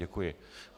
Děkuji.